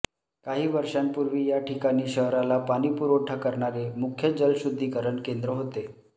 काही वर्षांपूर्वी या ठिकाणी शहराला पाणीपुरवठा करणारे मुख्य जलशुद्धीकरण केंद्र होते